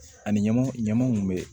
Ani ɲama ɲamaw kun bɛ